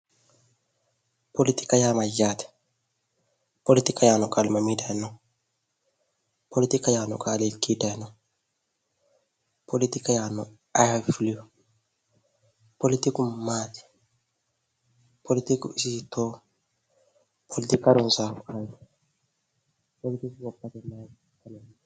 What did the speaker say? politika yaa mayyaate? politika yaanno qaali mami dayinoo? politika yaanno qaali hiikki dayinoho? politika yaannohu ayi afii fuleewoho ? politiku maati politiku isi hiittooho politiku harunsaano ayiti politiku gobbate mayi horo aanno?